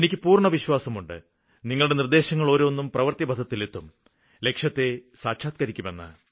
എനിയ്ക്ക് പൂര്ണ്ണവിശ്വാസമുണ്ട് നിങ്ങളുടെ നിര്ദ്ദേശങ്ങളോരോന്നും പ്രവൃത്തിപഥത്തിലെത്തും ലക്ഷ്യത്തെ സാക്ഷാത്ക്കരിക്കുമെന്ന്